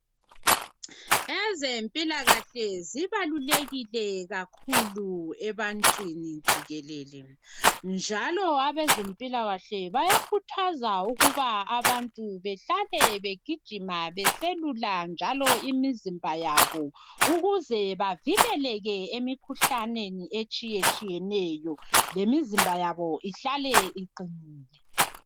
Ezempilakahle zibalulekile kakhulu ebantwini jikelele. Njalo abezempilakahle bayakhuthaza ukuba abantu behlale begijima beselula njalo imizimba yabo. Ukuze bavikeleke emikhuhlaneni etshiyatshiyeneyo. Lmizimba yabo ihlale iqinile.